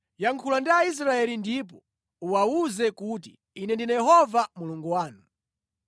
“Yankhula ndi Aisraeli ndipo uwawuze kuti, ‘Ine ndine Yehova Mulungu wanu.